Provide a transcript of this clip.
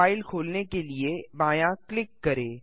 file खोलने के लिए बायाँ क्लिक करें